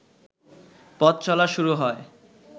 পথচলা শুরু হয়